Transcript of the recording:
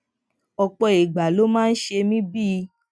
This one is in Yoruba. òpò ìgbà ló máa ń ṣe mí bíi